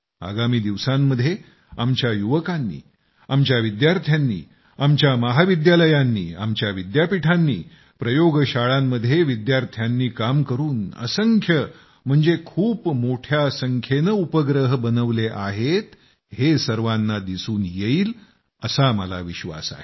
आगामी दिवसांमध्ये आमच्या युवकांनी आमच्या विद्यार्थ्यांनी आमच्या महाविद्यालयांनी आमच्या विद्यापीठांनी प्रयोगशाळांमध्ये विद्यार्थ्यांनी काम करून असंख्य म्हणजे खूप मोठ्या संख्येनं उपग्रह बनवले आहेत हे सर्वांना दिसून येईल असा मला विश्वास आहे